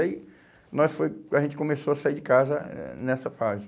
aí nós foi, a gente começou a sair de casa eh nessa fase.